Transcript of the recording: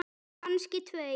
Kannski tveir.